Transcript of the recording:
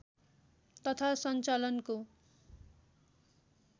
तथा सञ्चालनको